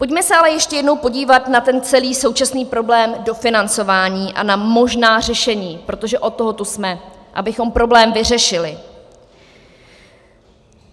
Pojďme se ale ještě jednou podívat na ten celý současný problém dofinancování a na možná řešení, protože od toho tu jsme, abychom problém vyřešili.